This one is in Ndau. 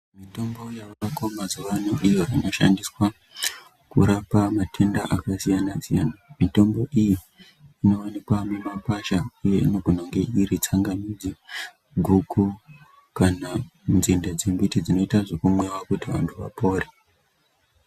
Mitombo yavako mazuwaano iyo inoshandiswa kurapa matenda akasiyana-siyana. Mitombo iyi inowanikwa mumakwasha inogona kunga iri tsangamidzi, guku, kana nzinde dzemiti dzinoita zvekumwiwa kuti vantu vapore.